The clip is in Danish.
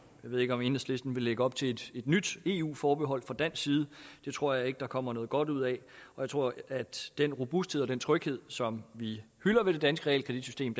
ved ikke om enhedslisten vil lægge op til et nyt eu forbehold fra dansk side det tror jeg ikke at der kommer noget godt ud af jeg tror at den robusthed og den tryghed som vi hylder ved det danske realkreditsystem